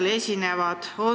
Kes seal esinevad?